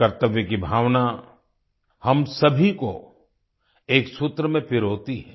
कर्तव्य की भावना हम सभी को एक सूत्र में पिरोती है